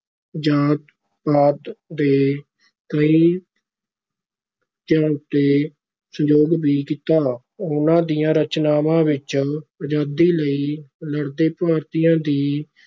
ਜਾਤ ਪਾਤ ਦੇ ਕਈ ਤੇ ਸੰਯੋਗ ਵੀ ਕੀਤਾ, ਉਹਨਾਂ ਦੀਆਂ ਰਚਨਾਵਾਂ ਵਿਚ ਆਜ਼ਾਦੀ ਲਈ ਲੜਦੇ ਭਾਰਤੀਆਂ ਦੀ